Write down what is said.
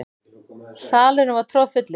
Salurinn var troðfullur.